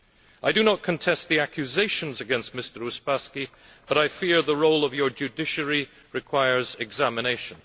I do not contest the accusations against Mr Uspaskich, but I fear that the role of your judiciary requires examination.